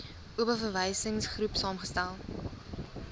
oba verwysingsgroep saamgestel